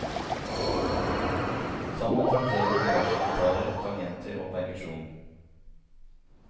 Sammen trakterer de diverse gitarer, tangenter og perkusjon.